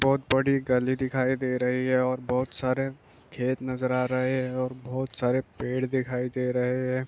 बोहोत बड़ी गली दिखाई दे रही हे ओर बोहोत सारे खेत नजर आ रहे हे ओर बोहोत सारे पेड़ दिखाई दे रहे हे ।